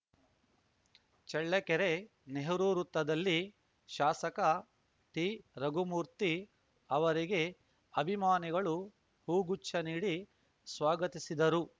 ಚಳ್ಳಕೆರೆ ನೆಹರು ವೃತ್ತದಲ್ಲಿ ಶಾಸಕ ಟಿರಘುಮೂರ್ತಿ ಅವರಿಗೆ ಅಭಿಮಾನಿಗಳು ಹೂಗುಚ್ಛ ನೀಡಿ ಸ್ವಾಗತಿಸಿದರು